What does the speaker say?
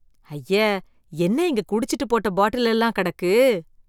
ஐயே என்ன இங்க குடிச்சுட்டு போட்ட பாட்டில் எல்லாம் கிடக்கு.